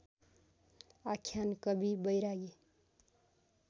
आख्यान कवि बैरागी